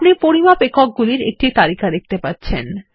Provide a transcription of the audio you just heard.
আপনি পরিমাপ একক গুলির একটি তালিকা দেখতে পাচ্ছেন